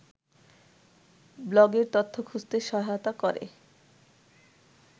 ব্লগের তথ্য খুঁজতে সহায়তা করে